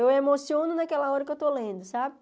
Eu emociono naquela hora que eu estou lendo, sabe?